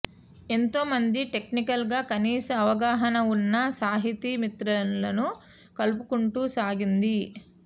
ఎంతోమంది టెక్నికల్ గా కనీస అవగాహన వున్న సాహితీ మిత్రులను కలుపుకుంటూ సాగింది